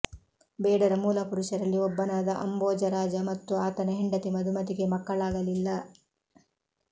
ಬೇಡರ ಮೂಲ ಪುರುಷರಲ್ಲಿ ಒಬ್ಬನಾದ ಅಂಭೋಜರಾಜ ಮತ್ತು ಆತನ ಹೆಂಡತಿ ಮಧುಮತಿಗೆ ಮಕ್ಕಳಾಗಲಿಲ್ಲ